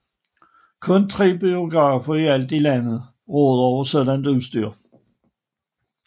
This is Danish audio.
Kun tre biograf i alt i landet råder over sådant udstyr